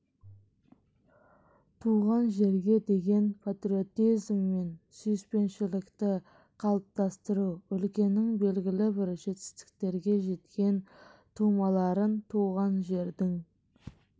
туған жерге деген патриотизм мен сүйіспеншілікті қалыптастыру өлкенің белгілі бір жетістіктерге жеткен тумаларын туған жердің